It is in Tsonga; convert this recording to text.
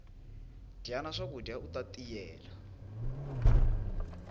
dyana swakudya uta tiyela